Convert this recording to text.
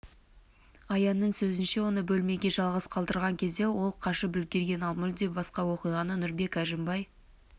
аянның сөзінше оны бөлмеге жалғыз қалдырған кезде ол қашып үлгерген ал мүлде басқа оқиғаны нұрбек әжімбай